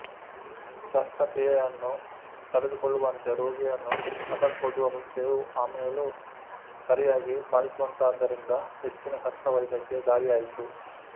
ಶಸ್ತ್ರಕ್ರಿಯೆಯನ್ನು ತಡೆದುಕೊಳ್ಳುವಂತೆ ರೋಗಿಯನ್ನು ಅದಕ್ಕೊಡ್ಡುವ ಮುಂಚೆಯೂ ಆಮೇಲೂ ಸರಿಯಾಗಿ ಪಾಲಿಸುವಂತಾದ್ದರಿಂದ ಹೆಚ್ಚಿನ ಶಸ್ತ್ರವೈದ್ಯಕ್ಕೆ ದಾರಿಯಾಯಿತು